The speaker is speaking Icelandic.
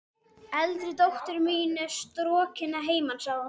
Eldri dóttir mín er strokin að heiman, sagði hún.